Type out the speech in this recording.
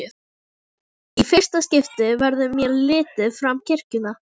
Í fyrsta skipti verður mér litið fram kirkjuna.